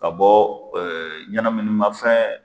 Ka bɔ ɲɛnaminima fɛn